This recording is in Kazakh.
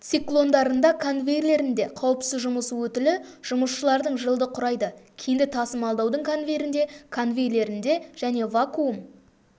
циклондарында конвейерлерінде қауіпсіз жұмыс өтілі жұмысшылардың жылды құрайды кенді тасымалдаудың конвейерінде конвейерлерінде және вакуум